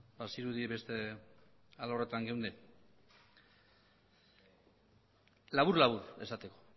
bazirudien beste alorretan geundela labur labur esateko